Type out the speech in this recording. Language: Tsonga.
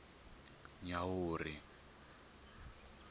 nyawuri